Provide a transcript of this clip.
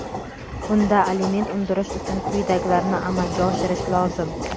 bunda aliment undirish uchun quyidagilarni amalga oshirish lozim:.